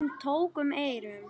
Hún tók um eyrun.